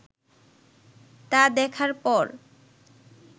তা দেখার পর